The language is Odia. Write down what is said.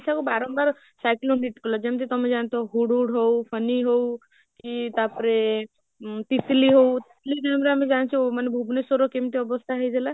କୁ ବାରମ୍ବାର cyclone hit କଲା ଯେମିତ ତମେ ଜାଣିଥିବ ହୁଡ୍ ହୁଡ୍ ହଉ, ଫନି ହଉ କି ତାପରେ ତିତିଲି ହଉ, ମାନେ ଯୋଉଗୁଡା ଆମେ ଜାଣିଛୁ ମାନେ ଭୁବନେଶ୍ବରର କେମିତି ଅବସ୍ଥା ହେଇଥିଲା?